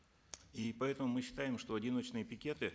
и поэтому мы считаем что одиночные пикеты